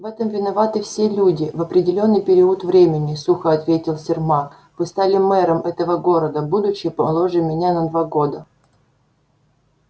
в этом виноваты все люди в определённый период времени сухо ответил сермак вы стали мэром этого города будучи моложе меня на два года